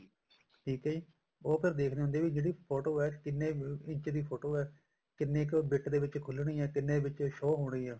ਠੀਕ ਆ ਜੀ ਉਹ ਫ਼ੇਰ ਦੇਖਦੇ ਹੁੰਦੇ ਆ ਫੋਟੋ ਹੈ ਕਿੰਨੇ ਇੰਚ ਦੀ ਫੋਟੋ ਹੈ ਕਿੰਨੇ ਕ bit ਦੇ ਵਿੱਚ ਖੁੱਲਣੀ ਹੈ ਕਿੰਨੇ ਵਿੱਚ show ਹੋਣੀ ਏ